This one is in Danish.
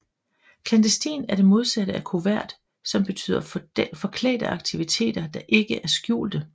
Klandestin er det modsatte af covert som betyder forklædte aktiviteter der ikke er skjulte